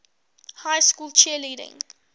high school cheerleading